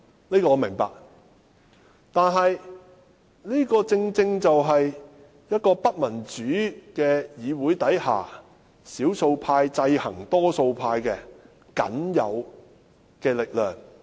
這個我明白，但是，這正正是在不民主的議會中，少數派制衡多數派的僅有力量。